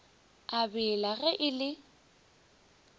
a bela ge e le